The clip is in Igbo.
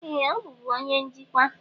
Ee! Ọ bụbu onye njikwa.